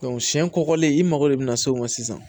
siɲɛ kɔkɔlen i mago de bɛna se o ma sisan